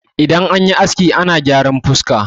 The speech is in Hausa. idan an yi aski ana gyaran fuska